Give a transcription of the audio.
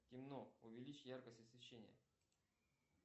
темно увеличь яркость освещения